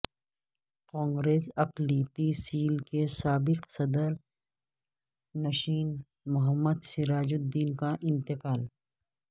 کانگریس اقلیتی سیل کے سابق صدرنشین محمد سراج الدین کا انتقال